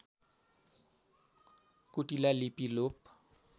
कुटिला लिपि लोप